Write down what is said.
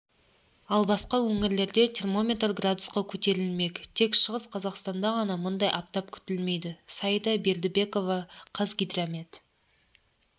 ал басқа өңірлерде термометр градусқа көтерілмек тек шығыс қазақстанда ғана мұндай аптап күтілмейді саида бердібекова қазгидромет